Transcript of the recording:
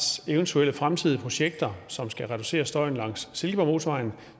eventuelle fremtidige projekter som skal reducere støjen langs silkeborgmotorvejen